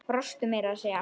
Brostu meira að segja.